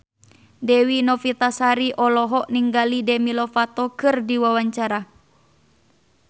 Dewi Novitasari olohok ningali Demi Lovato keur diwawancara